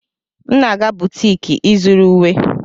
M na-aga butiki ịzụrụ uwe.